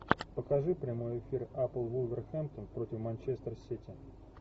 покажи прямой эфир апл вулверхэмптон против манчестер сити